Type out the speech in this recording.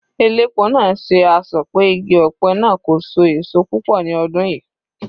Elépo náà ṣe asọ̀ pé igi ọ̀pẹ náà kò so èso púpọ̀ ní ọdún yìí.